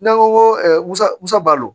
N'an ko ko musa musa